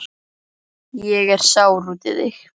Ég er sár út í þig.